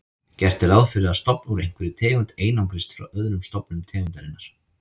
Gert er ráð fyrir að stofn úr einhverri tegund einangrist frá öðrum stofnum tegundarinnar.